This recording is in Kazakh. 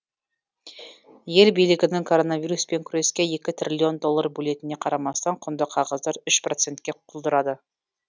ел билігінің коронавируспен күреске екі триллион доллар бөлетініне қарамастан құнды қағаздар үш процентке құлдырады